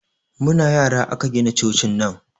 Muna yara aka gina cocin nan